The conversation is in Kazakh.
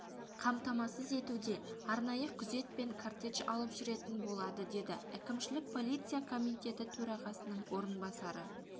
қамтамасыз етуде арнайы күзет пен кортедж алып жүретін болады деді әкімшілік полиция комитеті төрағасының орынбасары